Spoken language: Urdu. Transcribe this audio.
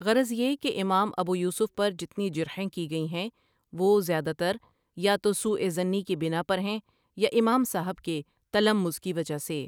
غرض یہ ہے کہ امام ابویوسف پرجتنی جرحیں کی گئی ہیں وہ زیادہ تریاتوسوءظنی کی بناپر ہیں یاامام صاحب کے تلمذ کی وجہ سے۔